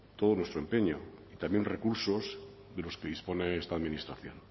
todo nuestro empeño también recursos de los que dispone esta administración